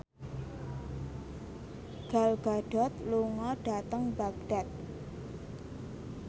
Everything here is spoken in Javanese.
Gal Gadot lunga dhateng Baghdad